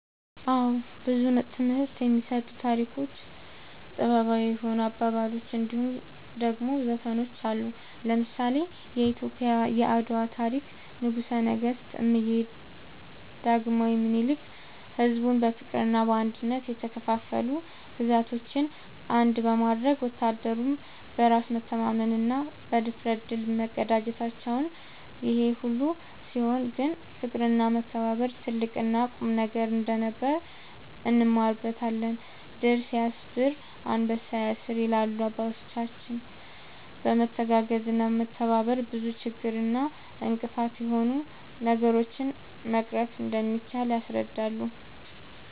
አወ ብዙ ትምህርት የሚሰጡ ታሪኮች ጥበባዊ የሆኑ አባባሎች እንድሁም ደሞ ዘፈኖች አሉ። ለምሳሌ :-የኢትዮጵያ የአድዋ ታሪክ ንጉሰ ነገስት እምዬ ዳግማዊ ምኒልክ ሕዝቡን በፍቅርና በአንድነት የተከፋፈሉ ግዛቶችን አንድ በማድረግ ወታደሩም በራስ መተማመንና ብድፍረት ድል መቀዳጀታቸውን ይሄ ሁሉ ሲሆን ግን ፍቅርና መከባበር ትልቅና ቁልፍ ነገር እንደነበር እንማርበታለን # "ድር ስያብር አንበሳ ያስር" ይላሉ አባቶች በመተጋገዝና በመተባበር ብዙ ችግር እና እንቅፋት የሆኑ ነገሮችን መቅረፍ እንደሚቻል ያስረዳሉ